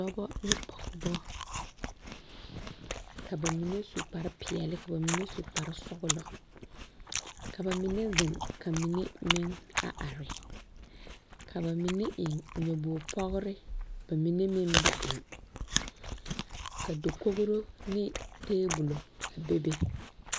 Dɔba ne pɔgeba ka ba mine su kparepeɛlle ka ba mine su kparesɔglɔ ka ba mine zeŋ ka mine meŋ a are ka ba mine meŋ eŋ nyɔbogre pɔgre ba mine meŋ ba eŋ ka dakogro ne tabola a bebe.